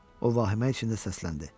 O vahimə içində səsləndi: